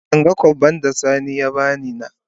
Ban gan kobbai da sani ya bani na.